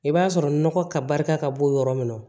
I b'a sɔrɔ nɔgɔ ka barika ka bɔ yɔrɔ min na